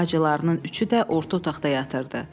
Bacılarının üçü də orta otaqda yatırdı.